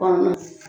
Kɔnɔ